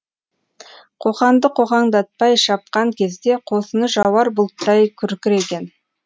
қоқанды қоқаңдатпай шапқан кезде қосыны жауар бұлттай күркіреген